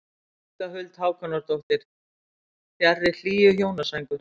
Inga Huld Hákonardóttir: Fjarri hlýju hjónasængur.